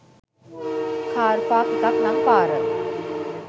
car park එකක් නං පාර